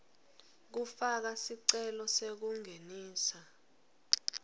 kufaka sicelo sekungenisa